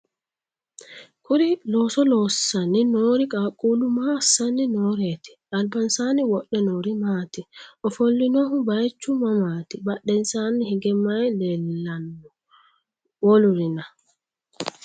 kuri looso loosanni noori qaaqquullu maa assanni nooreeti? albansaanni wodhe noori maati? ofollinohu bayeechu mamaati? badhensaanni hige maye leellanno? wolurina?